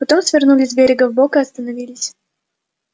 потом свернули с берега вбок и остановились